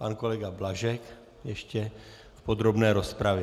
Pan kolega Blažek ještě v podrobné rozpravě.